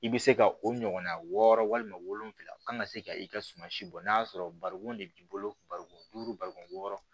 I bɛ se ka o ɲɔgɔnna wɔɔrɔ walima wolonfila kan ka se ka i ka suma si bɔ n'a y'a sɔrɔ bariko de b'i bolo barikon duuru barikon yɔrɔ